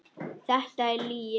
Þetta er lygi!